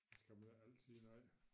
Det skal man ikke altid nej